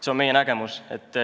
See on meie nägemus.